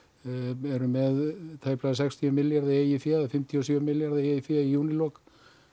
við erum með tæplega sextíu milljarða í eigin fé eða fimmtíu og sjö milljarða í eigin fé í júlílok